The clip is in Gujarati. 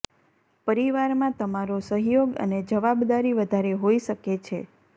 પરિવારમાં તમારો સહયોગ અને જવાબદારી વધારે હોઇ શકે છે